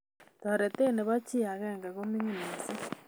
Toretet nebo chii agenge komining mising